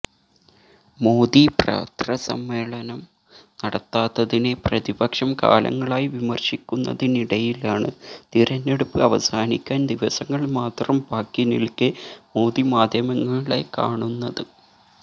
മോദി പത്രസമ്മേളനം നടത്താത്തതിനെ പ്രതിപക്ഷം കാലങ്ങളായി വിമര്ശിക്കുന്നതിനിടയിലാണ് തിരഞ്ഞെടുപ്പ് അവസാനിക്കാന് ദിവസങ്ങള് മാത്രം ബാക്കി നില്ക്കെ മോദി മാധ്യമങ്ങളെ കാണുന്നത്